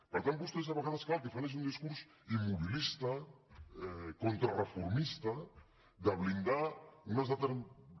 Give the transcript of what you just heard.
per tant vostès a vegades és clar el que fan és un discurs immobilista contrareformista de blindar unes determinades